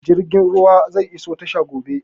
Jirgin ruwan zai iso tashar gobe